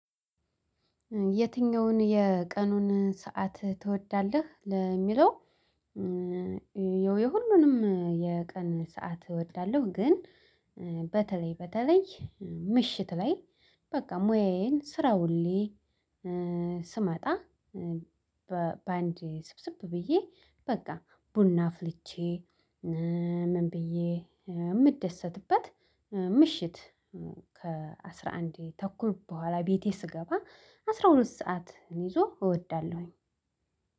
የትኛውን የቀኑን ሰዓት ትወዳለህ ለሚለው? የሁሉንም የቀን ሰዓት እወዳለሁ ግን በተለይ በተለይ ምሽት ላይ በቃ ሙያየን ስራ ዉየ ስመጣ። በአንዴ ስብስብ ብዬ በቃ ቡና አፍልቼ ምን ብዬ እምደሰትበት። ምሽት ከአስራ አንድ ተኩል በኋላ ቤቴ ስገባ አስራ ሁለት ሰዓት ይዞ እወዳለሁኝ።